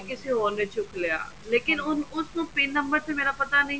ਤੇ ਕਿਸੇ ਹੋਰ ਨੇ ਚੁੱਕ ਲਿਆ ਲੇਕਿਨ ਉਸਨੂੰ ਮੇਰਾ pin ਨੰਬਰ ਤਾਂ ਪਤਾ ਨਹੀਂ